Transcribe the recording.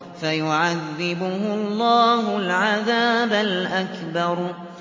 فَيُعَذِّبُهُ اللَّهُ الْعَذَابَ الْأَكْبَرَ